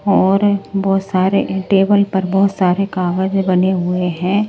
और बहुत सारे टेबल पर बहुत सारे कागज बने हुए हैं।